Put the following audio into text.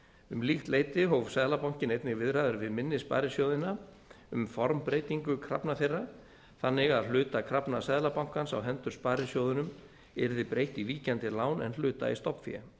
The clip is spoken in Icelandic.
um líkt leyti hóf seðlabankinn einnig viðræður við minni sparisjóðina um formbreytingu krafna þeirra þannig að hluta krafna seðlabankans á hendur sparisjóðunum yrði breytt í víkjandi lán en hluta í stofnfé